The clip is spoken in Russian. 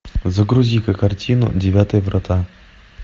загрузи ка картину девятые врата